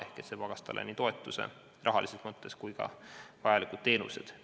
Ehk et see tagas talle nii toetuse, rahalises mõttes, kui ka vajalikud teenused.